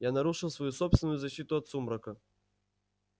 я нарушил свою собственную защиту от сумрака